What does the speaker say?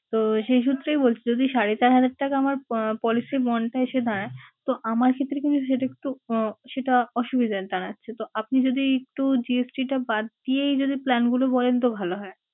তো সেই সূত্রেই বলছি যদি সাড়ে চার হাজার টাকা আমরা আহ policy bond টা এসে দাঁড়ায়, তো আমার ক্ষেত্রে কিন্তু সেটা একটু আহ সেটা অসুবিধার দাঁড়াচ্ছে। আপনি যদি একটু GST টা বাদ দিয়েই যদি plan গুলো বলেন তো ভালো হয়।